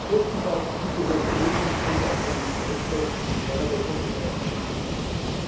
Bestenfalls gibt es als Beruhigungspille AKW Stresstests, die keinerlei Konsequenzen nach sich ziehen.